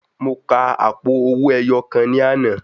Mo ka àpò owó ẹyọ kan ní àná.